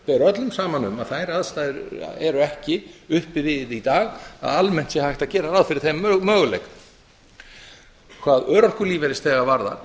ber saman um að þær aðstæður eru ekki uppi við í dag að almennt sé hægt að gera ráð fyrir þeim möguleika hvað örorkulífeyrisþega varðar